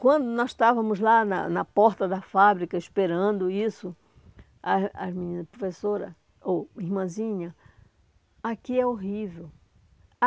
Quando nós estávamos lá na na porta da fábrica, esperando isso, as as minhas professoras, ou irmãzinha, aqui é horrível.